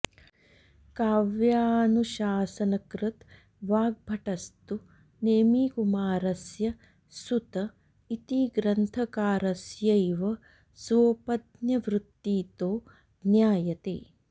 काव्यानुशासनकृद् वाग्भटस्तु नेमिकुमारस्य सुत इति ग्रन्थकारस्यैव स्वोपज्ञवृत्तितो ज्ञायते